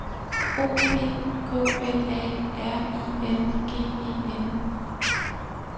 O P K L A R I N G E N